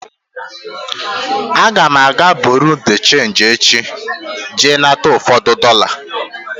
Aga m aga bureau de change echi jee nata ụfọdụ dollar.